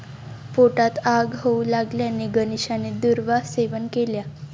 पोटात आग होऊ लागल्याने गणेशाने दुर्वा सेवन केल्या.